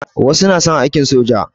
Wasu na son aiki soja.